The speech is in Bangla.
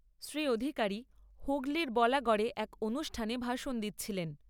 শ্রী অধিকারী, হুগলীর বলাগড়ে এক অনুষ্ঠানে ভাষণ দিচ্ছিলেন।